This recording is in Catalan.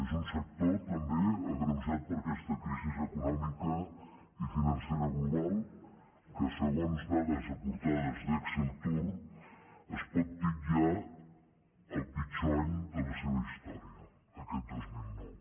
és un sector també agreujat per aquesta crisi econòmica i financera global que segons dades aportades per exceltur es pot titllar del pitjor any de la seva història aquest dos mil nou